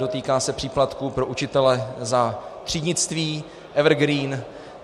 Dotýká se příplatků pro učitele za třídnictví, evergreen.